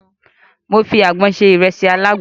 Mo fi àgbọn se ìrẹsì alágbọn.